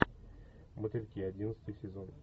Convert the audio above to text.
мотыльки одиннадцатый сезон